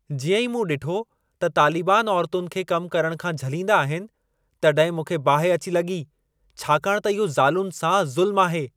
जीअं ई मूं ॾिठो त तालीबान औरुतुनि खे कम करण खां झलींदा आहिनि, तॾहिं मूंखे बाहि अची लॻी, छाकाणि त इहो ज़ालुनि सां ज़ुल्म आहे।